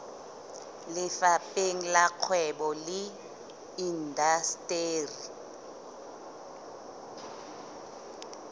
lefapheng la kgwebo le indasteri